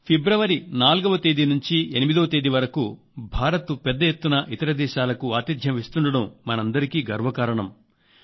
ఫిబ్రవరి 4వ తేదీ నుంచి 8వ తేదీ వరకు భారతదేశం పెద్ద ఎత్తున ఇతర దేశాలకు ఆతిథ్యం ఇస్తుండటం మనందరికీ గర్వకారణం